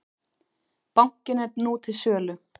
Bankinn er nú til sölu.